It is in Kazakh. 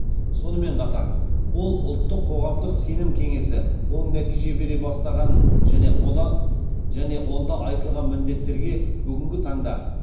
сонымен қатар ол ұлттық қоғамдық сенім кеңесі оң нәтиже бере бастағанын және онда айтылған міндеттерге бүгінгі таңда